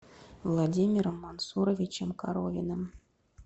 владимиром мансуровичем коровиным